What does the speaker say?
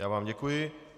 Já vám děkuji.